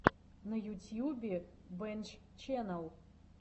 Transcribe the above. на ютьюбе бэнччэннел